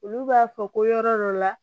Olu b'a fɔ ko yɔrɔ dɔ la